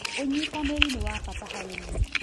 ũnyitanĩri nĩ wa bata harĩ niĩ